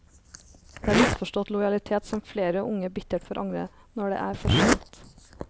Det er en misforstått lojalitet som flere unge bittert får angre når det er for sent.